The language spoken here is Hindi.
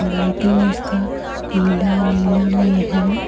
लाइटिंग इसका पीला नीला में है।